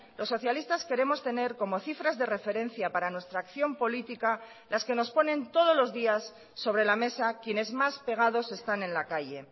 los socialistas queremos tener como cifras de referencia para nuestra acción política las que nos ponen todos los días sobre la mesa quienes más pegados están en la calle